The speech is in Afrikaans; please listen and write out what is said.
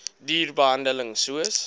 duur behandeling soos